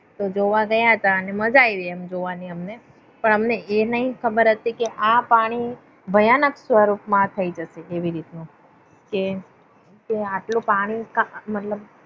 તો જોવા ગયા હતા અને માજા આવી જોવાની અમને પણ અમને આ નાતી ખબર કે આ પાણી ભયાનક સ્વરૂપ માં થઇ જશે તેવી રીતે નું આટલું પાણી મતલબ